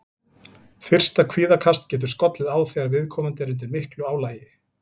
Fyrsta kvíðakast getur skollið á þegar viðkomandi er undir miklu álagi.